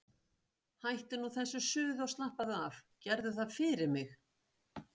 Hættu nú þessu suði og slappaðu af, gerðu það fyrir mig!